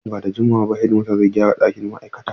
Nan ba da jimawa ba hedimastan zai gyara ɗakin ma’aikatan.